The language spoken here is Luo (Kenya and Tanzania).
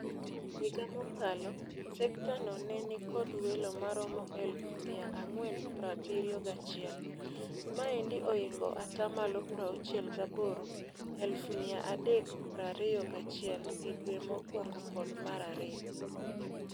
Higa mokalo, sekta no ne nikod welo maromo eluf mia ang'wen prabirio gachiel. Maendi oingo atamalo prauchiel gaboro(eluf mia adek prario gachiel) e dwe mokwongo kod marario.